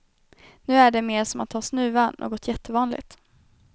Nu är det mer som att ha snuva, något jättevanligt.